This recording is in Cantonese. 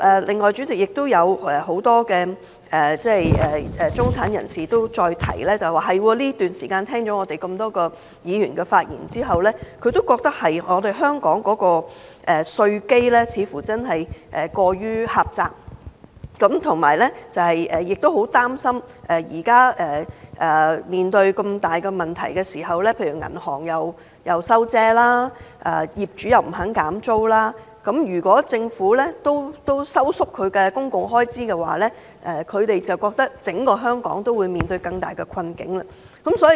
另外，主席，有很多中產人士又提到，聽了很多議員的發言後，他們亦覺得香港的稅基過於狹窄，很擔憂現時面對這麼大的問題，銀行收緊信貸、業主不肯減租，如果政府也收縮公共開支，他們會覺得整個香港會面對更大的困境。